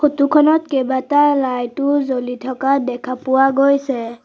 Photo খনত কেইবাটাও light ও জ্বলি থকা দেখা পোৱা গৈছে।